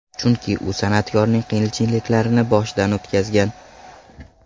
Chunki u san’atkorning qiyinchiliklarini boshidan o‘tkazgan.